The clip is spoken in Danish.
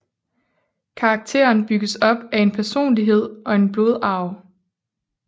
Karakteren bygges op af en personlighed og en blodarv